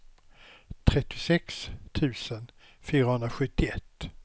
trettiosex tusen fyrahundrasjuttioett